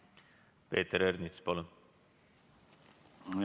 Peeter Ernits, palun!